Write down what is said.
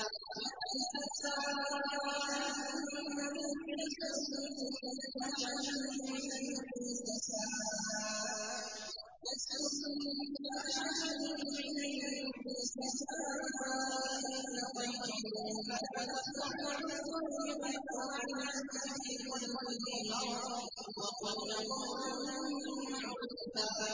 يَا نِسَاءَ النَّبِيِّ لَسْتُنَّ كَأَحَدٍ مِّنَ النِّسَاءِ ۚ إِنِ اتَّقَيْتُنَّ فَلَا تَخْضَعْنَ بِالْقَوْلِ فَيَطْمَعَ الَّذِي فِي قَلْبِهِ مَرَضٌ وَقُلْنَ قَوْلًا مَّعْرُوفًا